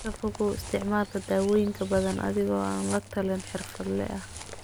Ka fogow isticmaalka dawooyin badan adiga oo aan la talin xirfadle ah.